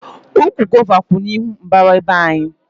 Ụkwụ gova kwú n'ihu mbara be anyị